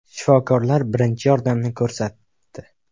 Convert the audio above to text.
Shifokorlar birinchi yordamni ko‘rsatdi.